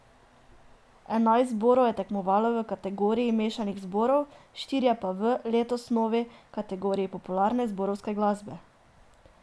Enajst zborov je tekmovalo v kategoriji mešanih zborov, štirje pa v, letos novi, kategoriji popularne zborovske glasbe.